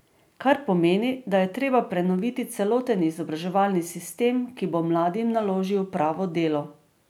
Kar pomeni, da je treba prenoviti celoten izobraževalni sistem, ki bo mladim naložil pravo delo.